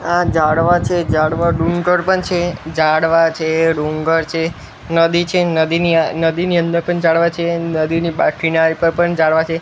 આ ઝાડવા છે ઝાડવા ડુંગર પણ છે ઝાડવા છે ડુંગર છે નદી છે નદીની નદીની અંદર પણ ઝાડવા છે નદીની બા કિનારે પર પણ ઝાડવા છે.